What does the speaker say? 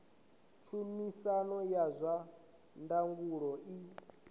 tshumisano ya zwa ndangulo i